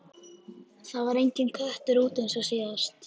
Það var enginn köttur úti eins og síðast.